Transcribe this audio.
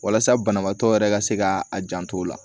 Walasa banabaatɔ yɛrɛ ka se ka a janto o la